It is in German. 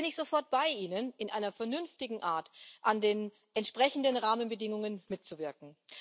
Da bin ich sofort bei Ihnen, in einer vernünftigen Art an den entsprechenden Rahmenbedingungen mitzuwirken.